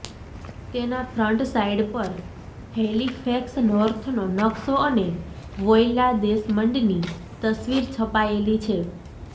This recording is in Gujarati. તેના ફ્રન્ટ સાઈડ પર હૈલીફેક્સ નોર્થનો નક્શો અને વોયલા ડેસમંડની તસવીર છપાયેલી છે